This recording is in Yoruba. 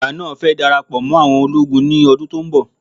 Bàbá náà fẹ dara pọ mó àwọn ológun ní ọdún tó ń bọ̀